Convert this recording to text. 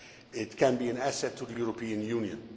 It can be an asset to the European Union.